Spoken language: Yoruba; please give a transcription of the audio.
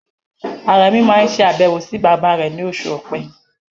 Àrẹ̀muh máa ṣe àbẹ̀wò sí bàbá rẹ̀ ní oṣù Ọ̀pẹ.